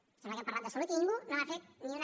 em sembla que hem parlat de salut i ningú no ha fet ni una